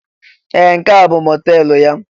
Ee! Nke a bụ mọteelụ ya?